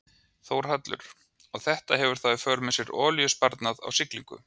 Þórhallur: Og þetta hefur þá í för með sér olíusparnað á siglingu?